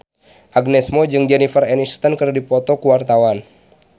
Agnes Mo jeung Jennifer Aniston keur dipoto ku wartawan